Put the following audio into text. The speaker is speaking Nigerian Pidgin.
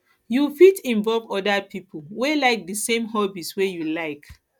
you fit involve oda pipo wey like di same hobbies wey you like